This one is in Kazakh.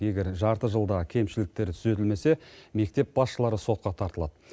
егер жарты жылда кемшіліктер түзетілмесе мектеп басшылары сотқа тартылады